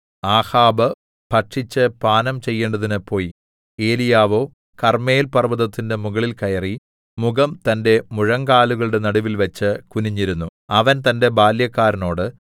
ആഹാബ് ഭക്ഷിച്ച് പാനം ചെയ്യേണ്ടതിന് പോയി ഏലീയാവോ കർമ്മേൽ പർവ്വതത്തിന്റെ മുകളിൽ കയറി മുഖം തന്റെ മുഴങ്കാലുകളുടെ നടുവിൽ വെച്ച് കുനിഞ്ഞിരുന്നു അവൻ തന്റെ ബാല്യക്കാരനോട്